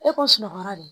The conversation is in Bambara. E ko sunɔgɔ de